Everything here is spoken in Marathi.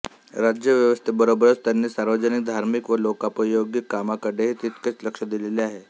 राज्य व्यवस्थेबरोबरच त्यांनी सार्वजनिक धार्मिक व लोकोपयोगी कामाकडेही तितकेच लक्ष दिलेले आहे